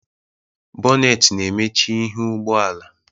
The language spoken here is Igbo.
Bonet na-emechi ihu ụgbọala